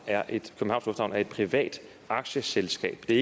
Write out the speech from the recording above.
er et privat aktieselskab det